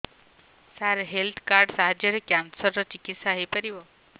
ସାର health card ସାହାଯ୍ୟରେ cancer ର ଚିକିତ୍ସା ହେଇପାରିବ